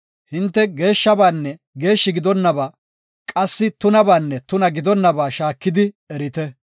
Hinte geeshshabanne geeshshi gidonaba qassi tunabaanne tuna gidonaba shaakidi erite.